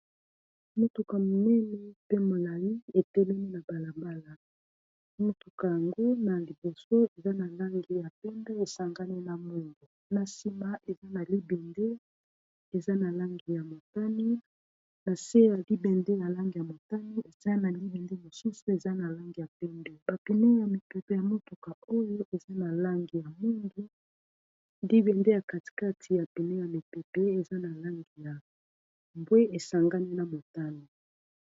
motuka minene pe molali etelemi na mbalabala motuka yango na liboso eza na langi ya pembe esangani na mwimgu na nsima eza na libende eza na langi ya motani na se ya libende ya lange ya motani eza na libende mosusu eza na lange ya pindu bapine ya mipepe ya motuka oyo eza na lange ya minge libende ya katikati ya pine ya mipepe eza na lange ya bwe esangani na motano